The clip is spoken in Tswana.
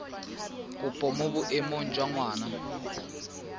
kopo mo boemong jwa ngwana